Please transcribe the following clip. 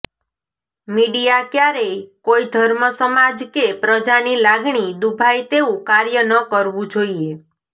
media ક્યારેય કોઈ ધર્મ સમાજ કે પ્રજાની લાગણી દૂભાય તેવું કાર્ય ન કરવું જોઈએ